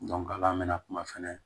ala mɛna kuma fɛnɛ